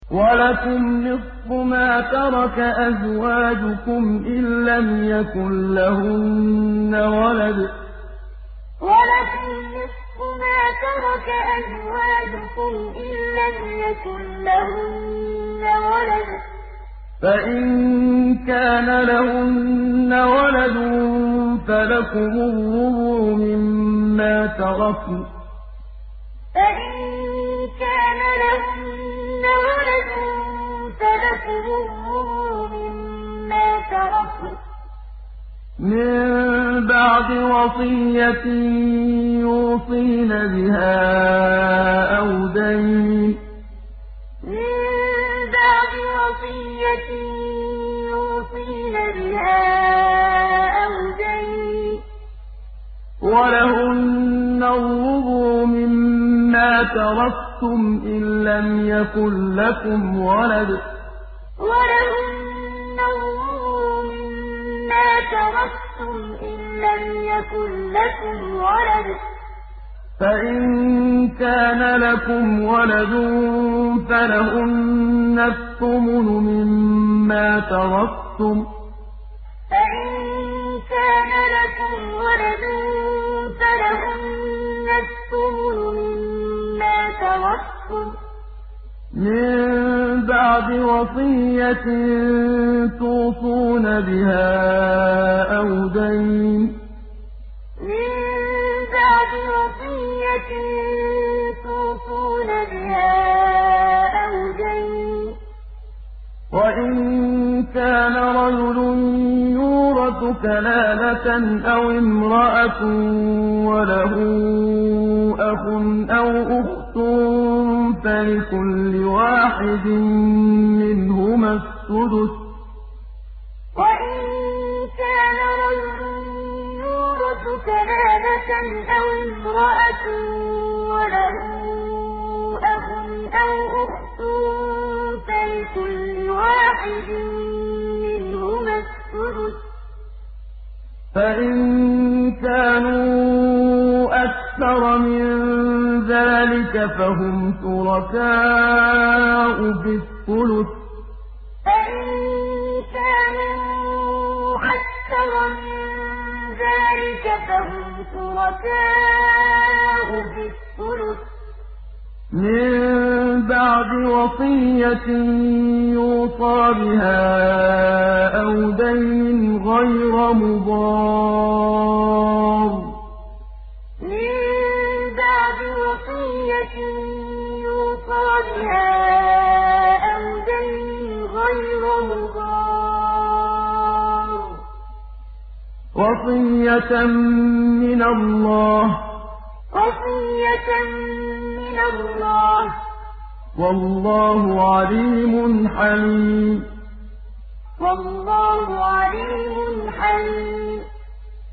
۞ وَلَكُمْ نِصْفُ مَا تَرَكَ أَزْوَاجُكُمْ إِن لَّمْ يَكُن لَّهُنَّ وَلَدٌ ۚ فَإِن كَانَ لَهُنَّ وَلَدٌ فَلَكُمُ الرُّبُعُ مِمَّا تَرَكْنَ ۚ مِن بَعْدِ وَصِيَّةٍ يُوصِينَ بِهَا أَوْ دَيْنٍ ۚ وَلَهُنَّ الرُّبُعُ مِمَّا تَرَكْتُمْ إِن لَّمْ يَكُن لَّكُمْ وَلَدٌ ۚ فَإِن كَانَ لَكُمْ وَلَدٌ فَلَهُنَّ الثُّمُنُ مِمَّا تَرَكْتُم ۚ مِّن بَعْدِ وَصِيَّةٍ تُوصُونَ بِهَا أَوْ دَيْنٍ ۗ وَإِن كَانَ رَجُلٌ يُورَثُ كَلَالَةً أَوِ امْرَأَةٌ وَلَهُ أَخٌ أَوْ أُخْتٌ فَلِكُلِّ وَاحِدٍ مِّنْهُمَا السُّدُسُ ۚ فَإِن كَانُوا أَكْثَرَ مِن ذَٰلِكَ فَهُمْ شُرَكَاءُ فِي الثُّلُثِ ۚ مِن بَعْدِ وَصِيَّةٍ يُوصَىٰ بِهَا أَوْ دَيْنٍ غَيْرَ مُضَارٍّ ۚ وَصِيَّةً مِّنَ اللَّهِ ۗ وَاللَّهُ عَلِيمٌ حَلِيمٌ ۞ وَلَكُمْ نِصْفُ مَا تَرَكَ أَزْوَاجُكُمْ إِن لَّمْ يَكُن لَّهُنَّ وَلَدٌ ۚ فَإِن كَانَ لَهُنَّ وَلَدٌ فَلَكُمُ الرُّبُعُ مِمَّا تَرَكْنَ ۚ مِن بَعْدِ وَصِيَّةٍ يُوصِينَ بِهَا أَوْ دَيْنٍ ۚ وَلَهُنَّ الرُّبُعُ مِمَّا تَرَكْتُمْ إِن لَّمْ يَكُن لَّكُمْ وَلَدٌ ۚ فَإِن كَانَ لَكُمْ وَلَدٌ فَلَهُنَّ الثُّمُنُ مِمَّا تَرَكْتُم ۚ مِّن بَعْدِ وَصِيَّةٍ تُوصُونَ بِهَا أَوْ دَيْنٍ ۗ وَإِن كَانَ رَجُلٌ يُورَثُ كَلَالَةً أَوِ امْرَأَةٌ وَلَهُ أَخٌ أَوْ أُخْتٌ فَلِكُلِّ وَاحِدٍ مِّنْهُمَا السُّدُسُ ۚ فَإِن كَانُوا أَكْثَرَ مِن ذَٰلِكَ فَهُمْ شُرَكَاءُ فِي الثُّلُثِ ۚ مِن بَعْدِ وَصِيَّةٍ يُوصَىٰ بِهَا أَوْ دَيْنٍ غَيْرَ مُضَارٍّ ۚ وَصِيَّةً مِّنَ اللَّهِ ۗ وَاللَّهُ عَلِيمٌ حَلِيمٌ